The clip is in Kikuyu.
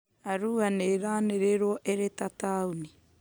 Arua nĩ ĩranĩrĩirwo ĩrĩ ta taũni